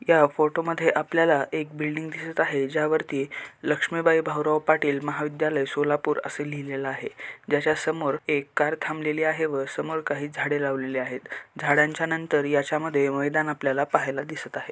या फोटो मध्ये आपल्याला एक बिल्डिंग दिसत आहे ज्यावरती लक्ष्मीबाई भाऊराव पाटील महाविध्यालाय सोलापूर अस लिहलेल आहे. ज्याच्या समोर एक कार थांबलेली आहे व समोर काही झाडे लावलेली आहेत. झाडांच्या नंतर याच्या मध्ये मैदान आपल्याला पाहायला दिसत आहे.